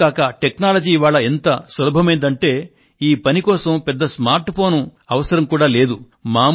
ఇంతేకాక technology ఇవాళ ఎంత సులభమైందంటే ఈ పనికోసం పెద్ద స్మార్ట్ ఫోను అవసరం కూడా లేదు